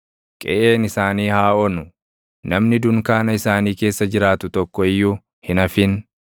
Qeʼeen isaanii haa onu; namni dunkaana isaanii keessa jiraatu tokko iyyuu hin hafin.